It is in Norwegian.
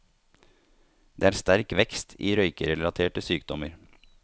Det er sterk vekst i røykerelaterte sykdommer.